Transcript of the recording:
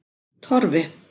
Torfi